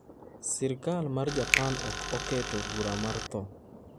Sirkal mar Japan ok oketo bura mar tho.